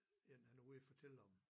En han var ude og fortælle om